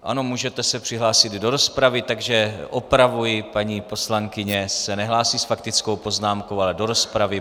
Ano, můžete se přihlásit do rozpravy, takže opravuji, paní poslankyně se nehlásí s faktickou poznámkou, ale do rozpravy.